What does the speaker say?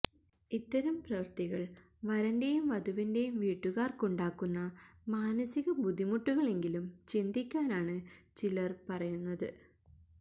ഇത്തരം പ്രവൃത്തികള് വരന്റെയും വധുവിന്റെയും വീട്ടുകാർക്കുണ്ടാക്കുന്ന മാനസിക ബുദ്ധിമുട്ടുകളെങ്കിലും ചിന്തിക്കാനാണ് ചിലർ പറയുന്നത്